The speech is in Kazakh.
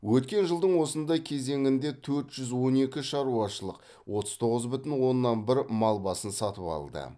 өткен жылдың осындай кезеңінде төрт жүз он екі шаруашылық отыз тоғыз бүтін оннан бір мал басын сатып алды